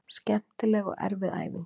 Skemmtileg og erfið fæðing